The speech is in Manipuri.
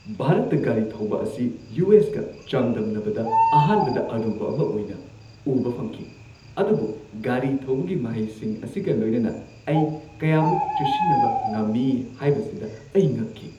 ꯚꯥꯔꯠꯇ ꯒꯥꯔꯤ ꯊꯧꯕ ꯑꯁꯤ ꯌꯨ. ꯑꯦꯁ. ꯀ ꯆꯥꯡꯗꯝꯅꯕꯗ ꯑꯍꯥꯟꯕꯗ ꯑꯔꯨꯕ ꯑꯃ ꯑꯣꯏꯅ ꯎꯕ ꯐꯪꯈꯤ, ꯑꯗꯨꯕꯨ ꯒꯥꯔꯤ ꯊꯧꯕꯒꯤ ꯃꯍꯩꯁꯤꯡ ꯑꯁꯤꯒ ꯂꯣꯏꯅꯅ, ꯑꯩ ꯀꯌꯥꯃꯨꯛ ꯆꯨꯁꯤꯟꯅꯕ ꯉꯝꯃꯤ ꯍꯥꯏꯕꯁꯤꯗ ꯑꯩ ꯉꯛꯈꯤ!